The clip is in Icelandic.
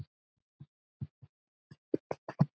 Hvað meinti hann?